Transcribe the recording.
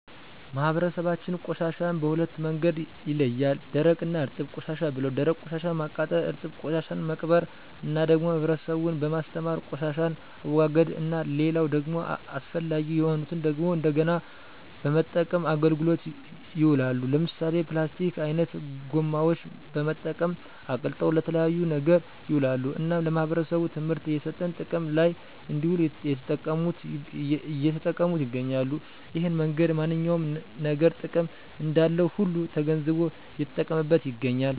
ማህበረሰባችን ቆሻሻን በሁለት መንገድ ይለያል ደረቅ እና እርጥብ ቆሻሻ ብለው ደረቅ ቆሻሻን ማቃጠል እርጥብ ቆሻሻን መቅበር እና ደግሞ ህብረተሰቡን በማስተማር የቆሻሻን አወጋገድ እና ሌላው ደግሞ አስፈላጊ የሆኑትን ደግሞ እንደገና በመጠቀም አገልግሎት ይውላሉ ለምሳሌ ፕላስቲክ አይነት ጎማዎችን በመጠቀም አቅልጠው ለተለያየ ነገር ይውላሉ እናም ለማህበረሰቡ ትምህርት እየሰጠን ጥቅም ለይ እንድውል እየተጠቀሙት ይገኛሉ እሄን መንገድ ማንኛውም ነገር ጥቅም እንዳለው ሁሉ ተገንዝቦ እየተጠቀመበት ይገኛል